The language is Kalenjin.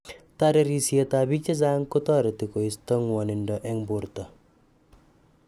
Tarerisiet ab biik chechang kotareti koista ng'wanindo eng borto